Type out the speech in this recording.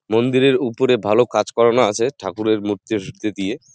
মন্দির এর উপরে ভালো কাজ করানো আছে ঠাকুরের মূর্তি টূর্তি দিয়ে।